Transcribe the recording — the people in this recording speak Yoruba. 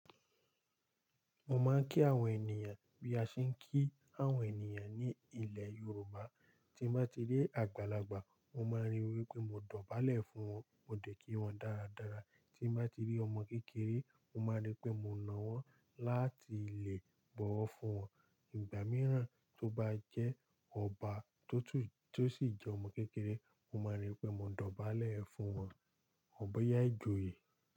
Mo máa ń kí àwọn ènìyàn bí a ṣe ń kí àwọn ènìyàn ní ilẹ̀ Yorùbá. Tí mo bá ti rí àgbàlagbà, mo máa rí i wí pé mo dọ̀bálẹ̀ fún wọn, mo dẹ̀ kí wọn dáradára. Tí mo bá ti rí ọmọ kékeré, mo máa rí i pé mo na wọ́n láti lè bọ̀wọ̀ fún wọn. Ìgbà mìíràn tó bá jẹ́ ọba tó t- tó sì jẹ́ ọmọ kékeré, mo máa rí i pé mo dọ̀bálẹ̀ fún wọn. Bo yá ìjòyè.